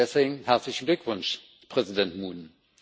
Deswegen herzlichen Glückwunsch, Präsident Moon!